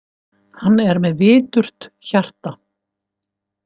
Hann er með viturt hjarta.